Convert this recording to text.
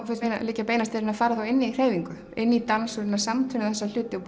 fannst mér liggja beinast við að fara inn í hreyfingu inn í dans og reyna að samtvinna þessa hluti og